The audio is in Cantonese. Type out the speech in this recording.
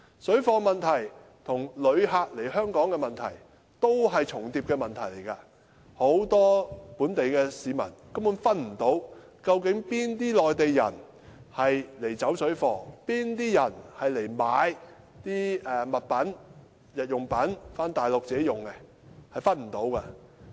水貨問題與旅客來港的問題是互相重疊，很多本地市民根本分辨不出，哪些內地人來"走水貨"，哪些人來買日用品回內地自用。